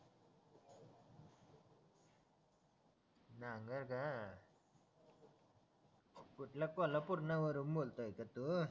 नांगर का कुठला कोल्हापूरना न वरून बोलतय का तू